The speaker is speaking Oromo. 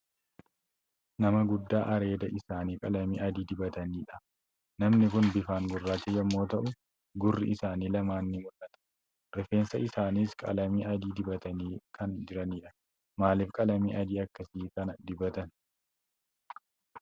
Nama guddaa areeda isaanii qalamii adii dibataniidha. Namni kun bifaan gurraacha yommuu ta'u, gurri isaanii lamaan ni mul'ata. Rifeensa isaaniis qalamii adii dibatanii kan jiranidha. Maaliif qalamii adii akkasii kana dibatan?